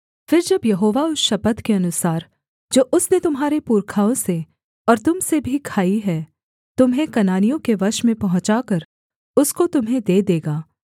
फिर जब यहोवा उस शपथ के अनुसार जो उसने तुम्हारे पुरखाओं से और तुम से भी खाई है तुम्हें कनानियों के देश में पहुँचाकर उसको तुम्हें दे देगा